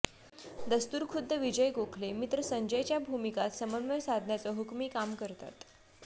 दस्तुरखुद्द विजय गोखले मित्र संजयच्या भूमिकात समन्वय साधण्याचं हुकमी काम करतात